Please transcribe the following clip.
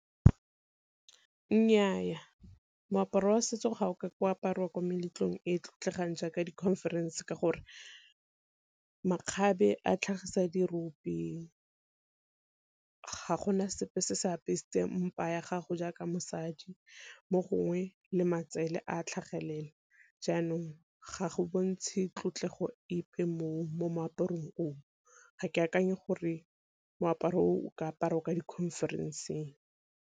Nnyaa, moaparo wa setso ga o ko apariwa ko meletlong e e tlotlegang jaaka di conference ka gore makgabe a tlhagisa di rope, ga gona sepe se se apesitseng mpa ya gago jaaka mosadi mo gongwe le matsele a tlhagelela. Jaanong ga go bontshe tlotlego epe mo moaparong o, ga ke akanye gore moaparo o o ka aparwa kwa di-conference-ng.